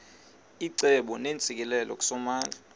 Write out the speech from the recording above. icebo neentsikelelo kusomandla